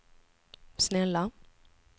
snälla